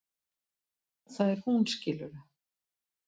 Það er hún, skilurðu?